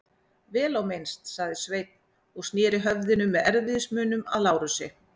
Vel á minnst, sagði Sveinn og sneri höfðinu með erfiðismunum að Lárusi.